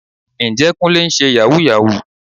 Ǹjẹ́ Kúnlé ń ṣe Yàhooyahoo?